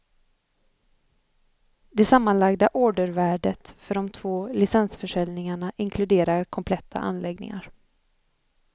Det sammanlagda ordervärdet för de två licensförsäljningarna inkluderar kompletta anläggningar.